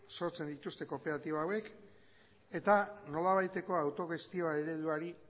sortzen dituzte kooperatiba hauek eta nolabaiteko autogestioa ereduari